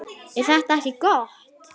Er þetta ekki gott?